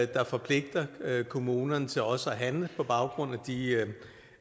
der forpligter kommunerne til også at handle på baggrund